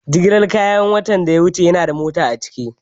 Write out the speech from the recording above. Jigilar kayan watan da ya wuce yanada mota a ciki?